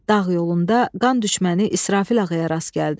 Dağ yolunda qan düşməni İsrafil ağaya rast gəldi.